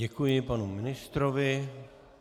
Děkuji panu ministrovi.